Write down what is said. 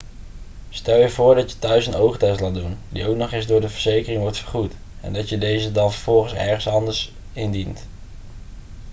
stel je voor dat je thuis een oogtest laat doen die ook nog eens door de verzekering wordt vergoed en dat je deze dan vervolgens ergens anders indient